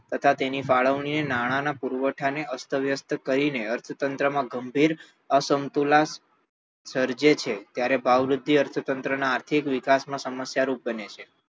તથા તેની ફાળવણીને નાણાંના પુરવઠા ને અસ્તવ્યસ્ત કરીને અર્થતંત્રમાં ગંભીર અસમતુલા સર્જે છે ત્યારે ભાવવૃદ્ધિ અર્થતંત્રના આર્થિક વિકાસમાં સમસ્યારૂપ બને છે